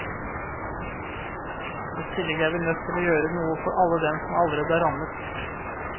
I tillegg er vi nødt til å gjøre noe for alle dem som allerede er rammet.